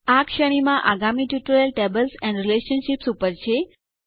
આ શ્રેણી માં આગામી ટ્યુટોરીયલ ટેબલ્સ એન્ડ રિલેશનશીપ્સ ઉપર છે